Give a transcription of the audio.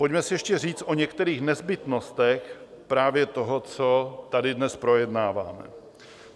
Pojďme si ještě říct o některých nezbytnostech právě toho, co tady dnes projednáváme.